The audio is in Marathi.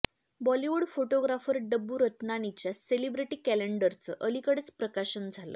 बॉलिवूड फोटोग्राफर डब्बू रत्नानीच्या सेलिब्रिटी कॅलेंडरचं अलिकडेच प्रकाशन झालं